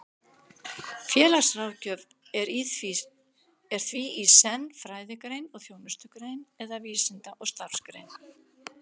Félagsráðgjöf er því í senn fræðigrein og þjónustugrein, eða vísinda- og starfsgrein.